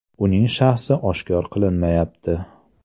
Uning shaxsi oshkor qilinmayapti.